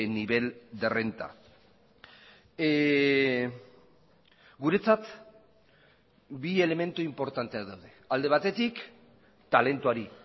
nivel de renta guretzat bi elementu inportanteak daude alde batetik talentuari